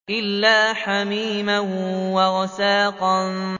إِلَّا حَمِيمًا وَغَسَّاقًا